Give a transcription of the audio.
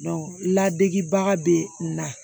ladegebaga bɛ n na